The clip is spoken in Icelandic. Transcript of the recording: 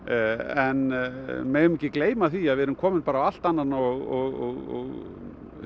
en við megum ekki gleyma því að við erum komin á allt annan og